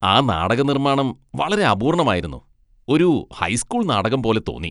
ആ നാടക നിർമ്മാണം വളരെ അപൂർണമായിരുന്നു. ഒരു ഹൈസ്കൂൾ നാടകം പോലെ തോന്നി.